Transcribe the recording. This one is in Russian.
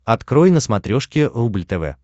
открой на смотрешке рубль тв